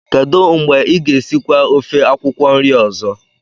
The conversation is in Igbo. kedu mgbe ị ga-esikwa ofe akwukwo nri ozo?